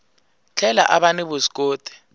tlhela a va ni vuswikoti